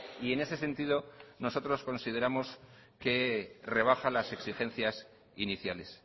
y en ese sentido nosotros consideramos que rebaja las exigencias iniciales